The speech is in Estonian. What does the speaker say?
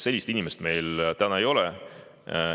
Sellist inimest meil täna ei ole.